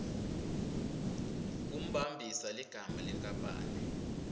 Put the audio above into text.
kumbambisa ligama lenkapani